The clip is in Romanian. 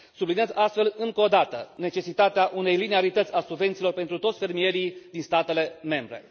Subliniez astfel încă o dată necesitatea unei liniarități a subvențiilor pentru toți fermierii din statele membre.